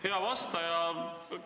Hea vastaja!